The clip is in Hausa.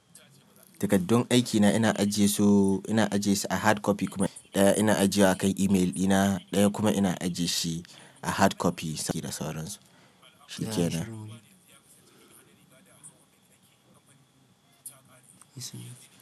Takardun aikina ina ajiye su, ina ajiye su a hard copy kuma ɗaya ina ajiye wa kan email ɗina, ɗaya kuma ina ajiye shi a hard copy da sauransu, shikenan.